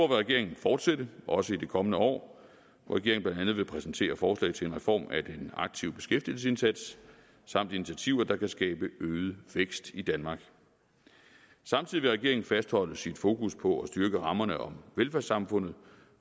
regeringen fortsætte også i det kommende år regeringen vil præsentere forslag til reform af en aktiv beskæftigelsesindsats samt initiativer der kan skabe øget vækst i danmark samtidig vil regeringen fastholde sit fokus på at styrke rammerne om velfærdssamfundet